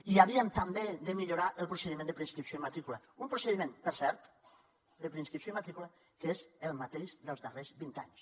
i havíem també de millorar el procediment de preinscripció i matrícula un procediment per cert de preinscripció i matrícula que és el mateix dels darrers vint anys